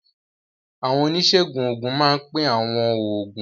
Àwọn oníṣègùn òògùn máa ń pín àwọn oògùn.